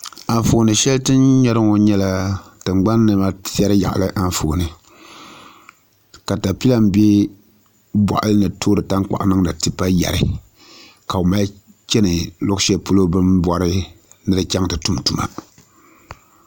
Anfooni shɛli tini nyɛri ŋo nyɛla tingbani niɛma tiɛri Anfooni katapila n bɛ boɣali ni toori tankpaɣu niŋdi tipa yɛri ka bi mali chɛni luɣu shɛli polo bini bori ni di chɛŋ ti tum tuma